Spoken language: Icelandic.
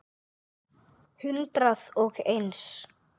Hundrað og eins.